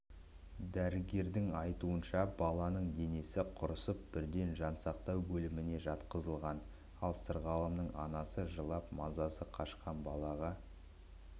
дәрігердің айтуынша баланың денесі құрысып бірден жансақтау бөліміне жатқызылған ал сырғалымның анасы жылап мазасы қашқан балаға